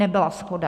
Nebyla shoda.